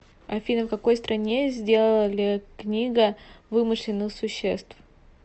афина в какой стране сделали книга вымышленных существ